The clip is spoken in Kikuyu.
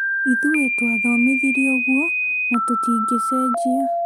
Ithuĩ twathomithirio ũguo na tũtingĩcenjia